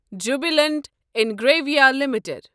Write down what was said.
Jubilant Ingrevia limited